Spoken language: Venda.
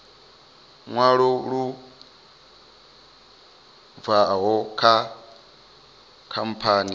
ṅwalo lu bvaho kha khamphani